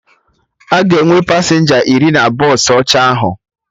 Aga enwe pasenja iri na bọsụ ọcha ahụ